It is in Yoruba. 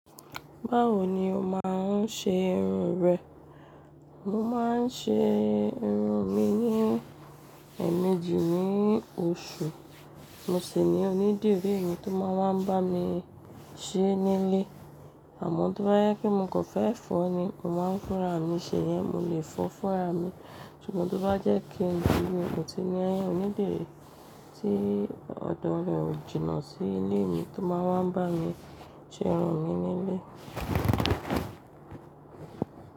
Báwo ni o máa ń ṣe irun rẹ? Mo máa ń ṣe irun mi ní ẹ̀mejì ní oṣù. Mo sì ní onídìrí mi tó máa ń wá n bá mi ṣe nílé àmọ́ tó bá jẹ́ pé mo kàn fẹ́ fọ́ ni, mó máa ń fúnra mi ṣèyẹn mo lè fọ fúnra mi. Ṣùgbọ́n tó bá jẹ́ kí n di ni, mo ti ní ẹni onídìrí tí ọ̀dọ̀ rẹ̀ ó jìnnà sí ilé mi tó máa wá n bá mi ṣe irun mi nílé.